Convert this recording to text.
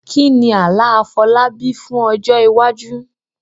Kí ni àlá Afolábí fún ọjọ́ iwájú?